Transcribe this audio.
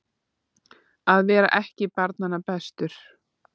Að vera ekki barnanna bestur